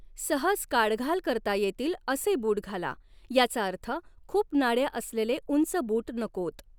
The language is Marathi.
सहज काढघाल करता येतील असे बूट घाला, याचा अर्थ खूप नाड्या असलेले उंच बूट नकोत.